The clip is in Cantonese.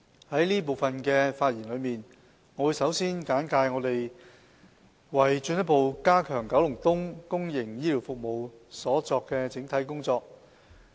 在這部分的發言，我會先簡介政府為進一步加強九龍東公營醫療服務所作出的整體工作。